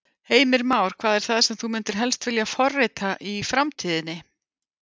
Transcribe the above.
Heimir Már: Hvað er það sem þú myndir helst vilja forrita í framtíðinni?